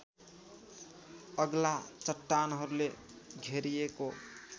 अग्ला चट्टानहरूले घेरिएको